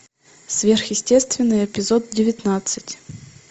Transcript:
сверхъестественное эпизод девятнадцать